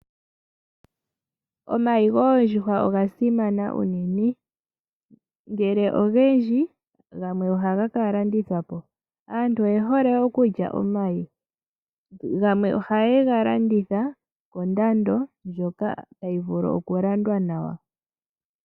Omayi goondjuhwa oga simana uunene ngele ogendji ohaga ka landithwapo. Aantu oye hole okulya omayi yamwe ohaye ga landitha kondando yimwe ndjoka tayi vulu okulandwa nawa.